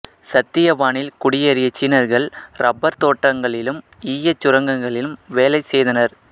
சித்தியவானில் குடியேறிய சீனர்கள் ரப்பர் தோட்டங்களிலும் ஈயச் சுரங்கங்களிலும் வேலை செய்தனர்